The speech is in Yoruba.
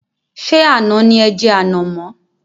Ṣé àná ni e jẹ ànàmọ́?